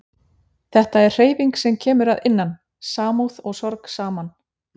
Þetta er hreyfing sem kemur að innan, samúð og sorg saman